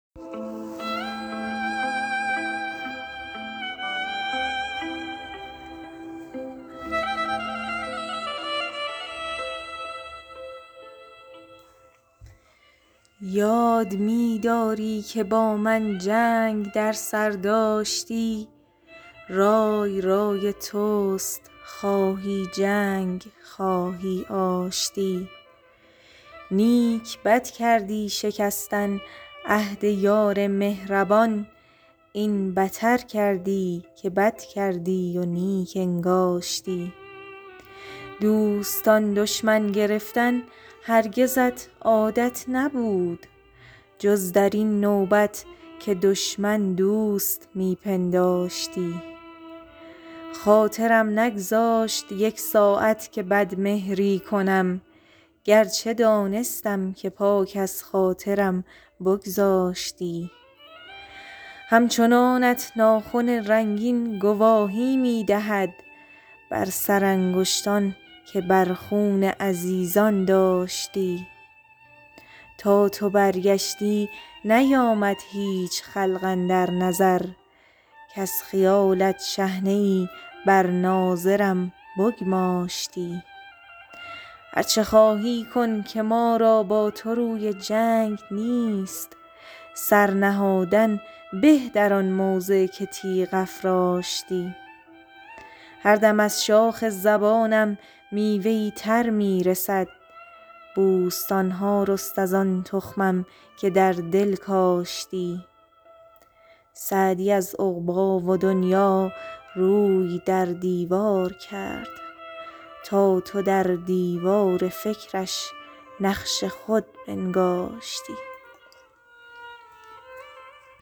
یاد می داری که با من جنگ در سر داشتی رای رای توست خواهی جنگ خواهی آشتی نیک بد کردی شکستن عهد یار مهربان این بتر کردی که بد کردی و نیک انگاشتی دوستان دشمن گرفتن هرگزت عادت نبود جز در این نوبت که دشمن دوست می پنداشتی خاطرم نگذاشت یک ساعت که بدمهری کنم گرچه دانستم که پاک از خاطرم بگذاشتی همچنانت ناخن رنگین گواهی می دهد بر سرانگشتان که در خون عزیزان داشتی تا تو برگشتی نیامد هیچ خلق اندر نظر کز خیالت شحنه ای بر ناظرم بگماشتی هر چه خواهی کن که ما را با تو روی جنگ نیست سر نهادن به در آن موضع که تیغ افراشتی هر دم از شاخ زبانم میوه ای تر می رسد بوستان ها رست از آن تخمم که در دل کاشتی سعدی از عقبی و دنیا روی در دیوار کرد تا تو در دیوار فکرش نقش خود بنگاشتی